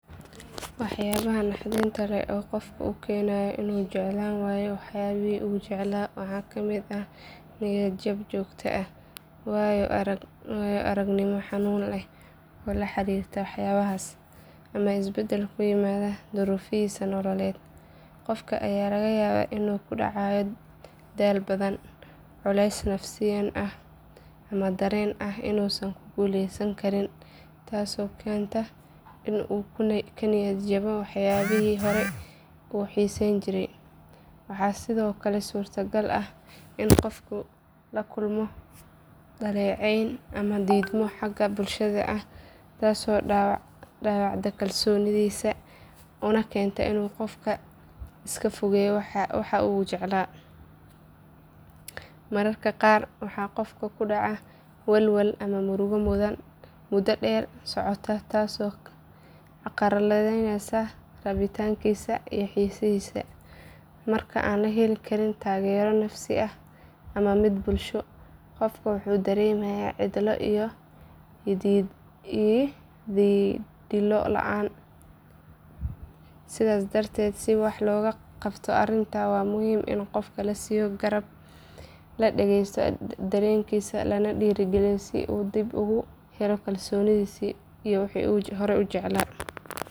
Waxyaabaha naxdinta leh ee qofka ku keenaya inuu jeclaan waayo waxyaabihii uu jeclaa waxaa ka mid ah niyad jab joogto ah, waayo aragnimo xanuun leh oo la xiriirta waxyaabahaas, ama isbedel ku yimaada duruufihiisa nololeed. Qofka ayaa laga yaabaa inuu ku dhacayo daal badan, culays nafsaani ah ama dareen ah inuusan ku guuleysan karin, taasoo keenta in uu ka niyad jabo waxyaabihii hore u xiisayn jiray. Waxaa sidoo kale suuragal ah in qofku la kulmo dhaleecayn ama diidmo xagga bulshada ah taasoo dhaawacda kalsoonidiisa una keenta inuu iska fogeeyo waxa uu jeclaa. Mararka qaar waxaa qofka ku dhaca walwal ama murugo muddo dheer socota taasoo carqaladeysa rabitaankiisa iyo xiisihiisa. Marka aan la helin taageero nafsi ah ama mid bulsho, qofka wuxuu dareemayaa cidlo iyo yididiilo la’aan. Sidaas darteed si wax looga qabto arrintan waa muhiim in qofka la siiyo garab, la dhageysto dareenkiisa lana dhiirrigeliyo si uu dib ugu helo kalsoonidiisa iyo jaceylkiisii hore.